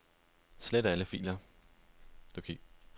Slet alle filer.